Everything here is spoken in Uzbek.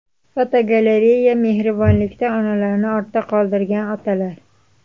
Fotogalereya: Mehribonlikda onalarni ortda qoldirgan otalar.